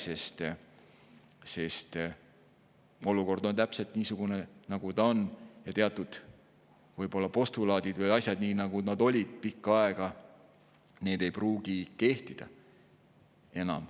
Sest olukord on täpselt niisugune, et teatud võib-olla postulaadid või asjad ei pruugi nii, nagu nad on pikka aega olnud, enam kehtida.